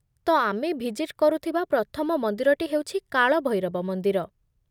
ତ, ଆମେ ଭିଜିଟ୍ କରୁଥିବା ପ୍ରଥମ ମନ୍ଦିରଟି ହେଉଛି କାଳଭୈରବ ମନ୍ଦିର।